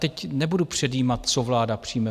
Teď nebudu předjímat, co vláda přijme.